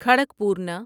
کھڑکپورنا